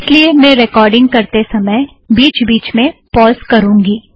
इस लिए मैं रेकॉर्डिंग करते समय बिच बिच में पॉज़ करूंगी